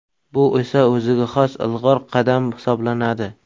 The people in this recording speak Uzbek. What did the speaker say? Bu esa o‘ziga xos ilg‘or qadam hisoblanadi.